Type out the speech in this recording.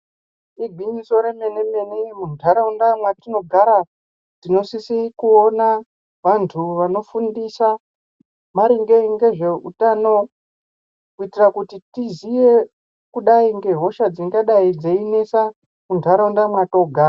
Igwinyiso remenemene, muntharaunda mwetinogara tinosise kuona vanthu vanofundisa maringe ngezveuthano kuitira kuti tiziye kudai ngehosha dzingadai dzeinesa muntharaunda mwathogara.